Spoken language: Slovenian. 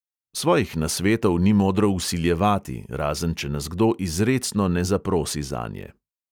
Svojih nasvetov ni modro vsiljevati, razen če nas kdo izrecno ne zaprosi zanje.